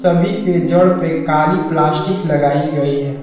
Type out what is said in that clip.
सभी के जड़ पे काली प्लास्टिक लगाई गई है।